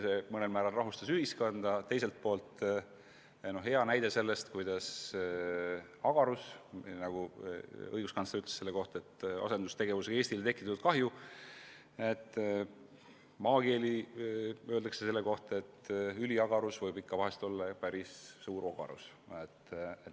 See mõnel määral rahustas ühiskonda, teiselt poolt oli see hea näide selle kohta, kuidas maakeeli öeldes – õiguskantsler rääkis sellest kui asendustegevusega Eestile tekitatud kahjust – võib ülim agarus olla vahest ikka päris suur ogarus.